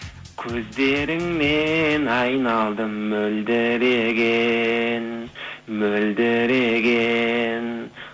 көздеріңнен айналдым мөлдіреген мөлдіреген